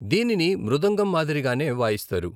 దీనిని మృదంగం మాదిరిగానే వాయిస్తారు.